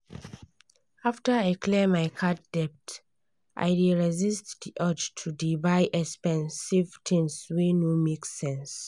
after i clear my card debt i dey resist the urge to dey buy expensive tins wey no make sense.